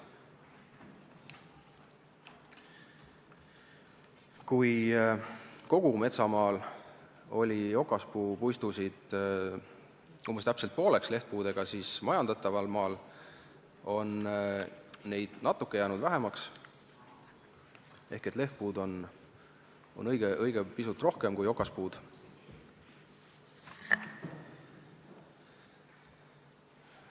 Nägime, et kogu metsamaal oli okaspuupuistusid lehtpuudega umbes pooleks, seevastu majandataval maal on neid natuke vähemaks jäänud ehk lehtpuid on õige pisut rohkem kui okaspuid.